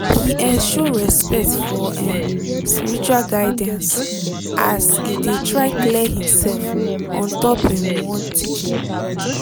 he um show respect for um spiritual guidance as e de try clear himsef ontop um one teaching